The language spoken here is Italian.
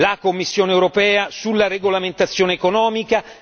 la Commissione europea sulla regolamentazione economica